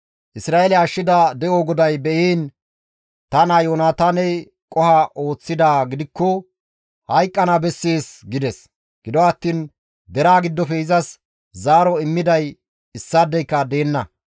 Isra7eele ashshida de7o GODAY be7iin ta naa Yoonataaney qoho ooththidaa gidikkoka hayqqana bessees» gides. Gido attiin deraa giddofe izas zaaro immiday issaadeyka deenna.